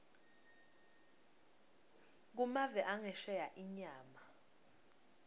kumave angesheya inyama